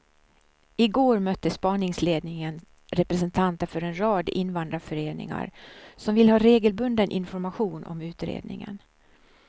I går mötte spaningsledningen representanter för en rad invandrarföreningar som vill ha regelbunden information om utredningen.